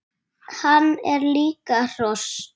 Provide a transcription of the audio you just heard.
Hann er líka hross!